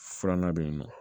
Filanan bɛ yen nɔ